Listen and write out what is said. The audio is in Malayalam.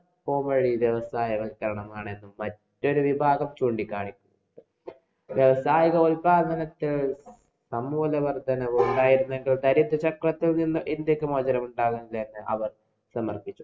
വ്യവസായ വല്‍ക്കരണമാണ് മറ്റൊരു വിഭാഗം ചൂണ്ടി കാണിച്ചു. വ്യാവസായിക ഉത്പാദനത്തില്‍ സമൂല വര്‍ദ്ധനവ് ഉണ്ടായിരുന്നെങ്കില്‍ ദാരിദ്ര്യത്വത്തില്‍ നിന്ന് ഇന്‍ഡ്യക്ക് മോചനമുണ്ടാവൂല്ലെന്നു അവര്‍ വിമര്‍ശിച്ചു.